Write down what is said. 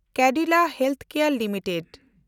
Cadila healthcare limited